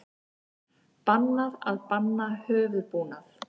Bannað að banna höfuðbúnað